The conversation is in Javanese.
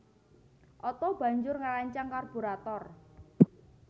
Otto banjur ngrancang karburator